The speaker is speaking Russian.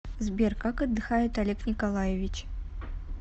сбер как отдыхает олег николаевич